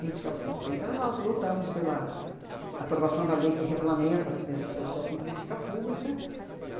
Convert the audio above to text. política pública. Então, nós lutamos pela aprovação da lei que regulamenta a assistência social como política pública.